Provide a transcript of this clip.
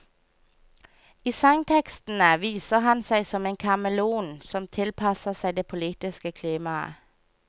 I sangtekstene viser han seg som en kameleon som tilpasser seg det politiske klimaet.